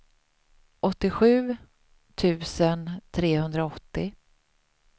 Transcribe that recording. åttiosju tusen trehundraåttio